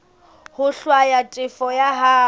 ho hlwaya tefo ya hao